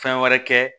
Fɛn wɛrɛ kɛ